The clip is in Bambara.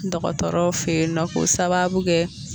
Dɔgɔtɔrɔw fe yen nɔ k'o sababu kɛ